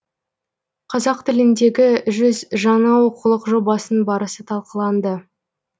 қазақ тіліндегі жүз жаңа оқулық жобасының барысы талқыланды